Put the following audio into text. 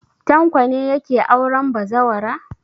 Tanko ne yake auren bazawara.